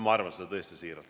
Ma arvan seda tõesti siiralt.